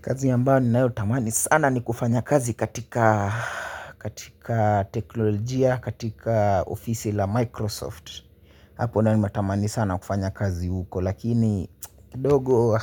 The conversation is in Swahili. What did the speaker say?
Kazi ambayo ninayo tamani sana, ni kufanya kazi katika, katika teknolojia katika, ofisi la Microsoft. Hapo nayo nime tamani sana kufanya kazi huko, lakini kidogo